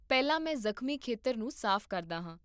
ਪਹਿਲਾਂ, ਮੈਂ ਜ਼ਖਮੀ ਖੇਤਰ ਨੂੰ ਸਾਫ਼ ਕਰਦਾ ਹਾਂ